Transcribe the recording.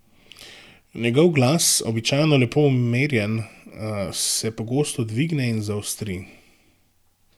Njegov glas, običajno lepo umerjen, se pogosto dvigne in zaostri.